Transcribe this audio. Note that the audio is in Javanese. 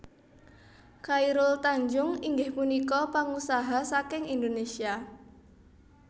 Chairul Tanjung inggih punika pangusaha saking Indonesia